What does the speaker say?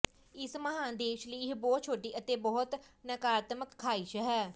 ਇਸ ਮਹਾਨ ਦੇਸ਼ ਲਈ ਇਹ ਬਹੁਤ ਛੋਟੀ ਅਤੇ ਬਹੁਤ ਨਕਾਰਾਤਮਕ ਖਾਹਿਸ਼ ਹੈ